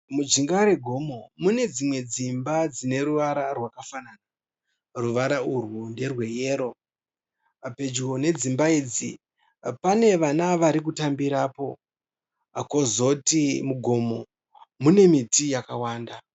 Mujinga regomo mune dzimwe dzimba dzine ruvara rwakafanana. Ruvara urwu nderweyero. Pedyo nedzimba idzi pane vana vari kutambirapo. Kozoti mugomo mune miti yakawanda.